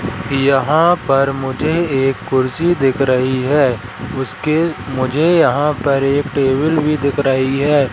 यहां पर मुझे एक कुर्सी दिख रही है उसके मुझे यहां पर एक टेबल भी दिख रही है।